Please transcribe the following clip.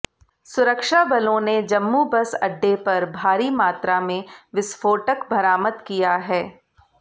सुरक्षा बलों ने जम्मू बस अड्डे पर भारी मात्रा में विस्फोटक बरामद किया है